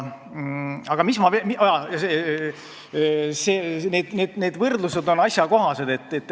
Aga need võrdlused on asjakohased.